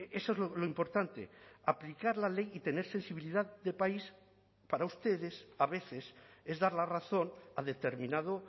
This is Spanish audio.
eso es lo importante aplicar la ley y tener sensibilidad de país para ustedes a veces es dar la razón a determinado